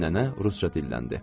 Nənə rusca dilləndi.